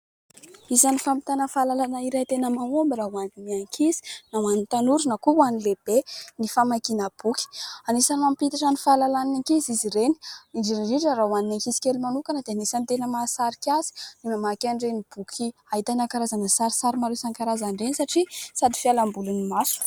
Isan'ny fampitana fahalalana iray tena mahomby raha ho an'ny ankizy na ho an'ny tanora na koa ho an'ny lehibe ny famakiana boky. Anisan'ny mampiitatra ny fahalalan'ny ankizy izy ireny, indrindra indrindra raha ho an'ny ankizy kely manokana dia anisan'ny tena mahasarika azy ny mamaky an'ireny boky ahitana karazana sarisary maro karazany ireny satria sady fialambolin'ny maso.